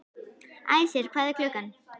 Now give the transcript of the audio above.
Æsir, hvað er klukkan?